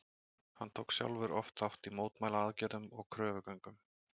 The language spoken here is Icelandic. Hann tók sjálfur oft þátt í mótmælaaðgerðum og kröfugöngum.